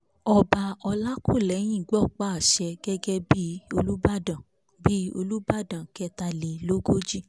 ọba ọlàkúlẹyìn gbọpá àṣẹ gẹ́gẹ́ bí olùbàdàn bí olùbàdàn kẹtàlélógójì